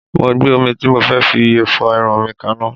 Mo gbé omi tí mo fẹ́ fi fọ irun mi kanná